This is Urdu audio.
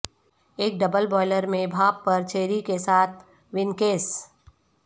ایک ڈبل بوائلر میں بھاپ پر چیری کے ساتھ وینکیس